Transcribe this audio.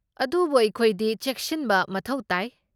ꯑꯗꯨꯕꯨ ꯑꯩꯈꯣꯏꯗꯤ ꯆꯦꯛꯁꯤꯟꯕ ꯃꯊꯧ ꯇꯥꯏ꯫